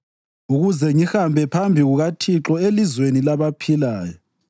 ukuze ngihambe phambi kukaThixo elizweni labaphilayo.